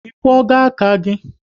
Ị kwogo aka gị?